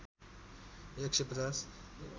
१ सय ५०